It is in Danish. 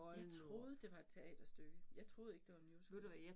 Jeg troede det var et teaterstykke jeg troede ikke det var en musical